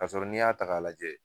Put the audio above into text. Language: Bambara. Kasɔrɔ n'i y'a ta ka lajɛ